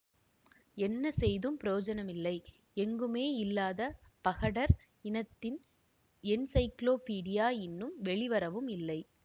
என்ன செய்தும் பிரயோசனமில்லை எங்குமே இல்லாத பகடர் இனத்தின் என்ஸைக்ளோ பீடியா இன்னும் வெளிவரவும் இல்லை